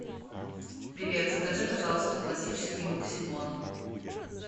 привет закажи пожалуйста классический максибон